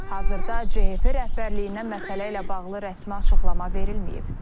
Hazırda CHP rəhbərliyindən məsələ ilə bağlı rəsmi açıqlama verilməyib.